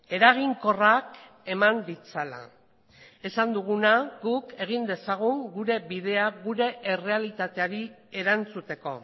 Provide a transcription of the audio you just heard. eraginkorrak eman ditzala esan duguna guk egin dezagun gure bidea gure errealitateari erantzuteko